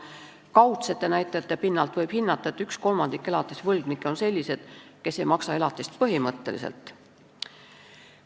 Kaudsete näidete pinnalt võib hinnata, et üks kolmandik elatisvõlgnikke on sellised, kes ei maksa elatist põhimõtteliselt.